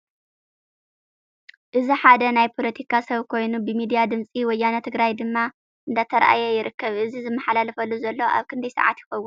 እዚ ሓደ ናይ ፖለቲካ ሰብ ኮይኑ ብሚድያ ድምፂ ወያነ ትግራይ ድማ እንዳተራኣየ ይርከብ። እዚ ዝመሓላለፈሉ ዘሎ ኣብ ክንደይ ሰዓት ይከውን?